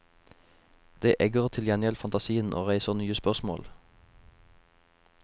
Det egger til gjengjeld fantasien og reiser nye spørsmål.